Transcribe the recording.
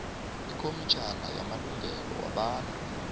ikhomitjhini yamalungelo wabantu